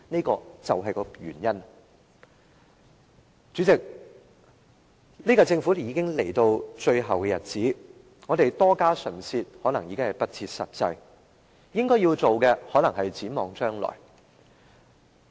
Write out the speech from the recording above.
代理主席，本屆政府已經來到最後的日子，我們多費唇舌可能已經不切實際，應該要做的可能是展望將來。